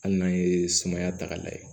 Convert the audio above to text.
Hali n'an ye sumaya ta k'a lajɛ